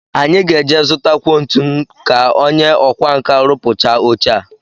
Anyị ga-eje zụtakwuo ntu ka onye ọkwánka rụpụchaa oche a